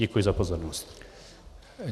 Děkuji za pozornost.